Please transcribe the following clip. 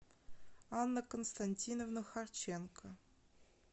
анна константиновна харченко